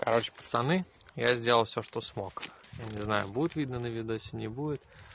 короче пацаны я сделал все что смог но не знаю будет видно на видосе не будет